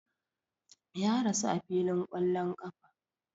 Ya rasu a filin ƙwallon ƙafa